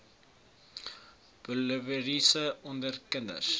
poliovirus onder kinders